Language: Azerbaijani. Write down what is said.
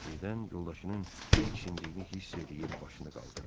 Birdən yoldaşının diksindiyini hiss eləyib başını qaldırdı.